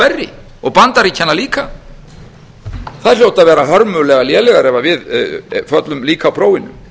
verri og bandaríkjanna líka þær hljóta að vera hörmulega lélegar ef við föllum líka á prófinu